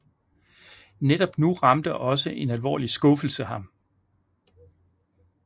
Netop nu ramte også en alvorlig skuffelse ham